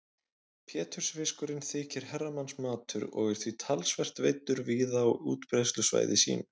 Pétursfiskurinn þykir herramannsmatur og er því talsvert veiddur víða á útbreiðslusvæði sínu.